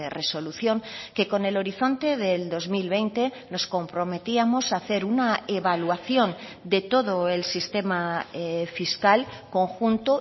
resolución que con el horizonte del dos mil veinte nos comprometíamos a hacer una evaluación de todo el sistema fiscal conjunto